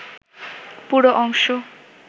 পুরো অংশ